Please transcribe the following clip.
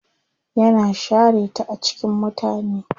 Yana share ta a cikin mutane.